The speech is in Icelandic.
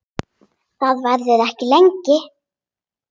Það verður ekki lengi.